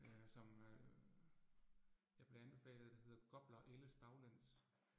Øh som øh, jeg blev anbefalet, der hedder Gopler Ældes Baglæns